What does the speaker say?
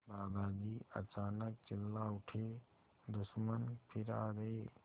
दादाजी अचानक चिल्ला उठे दुश्मन फिर आ गए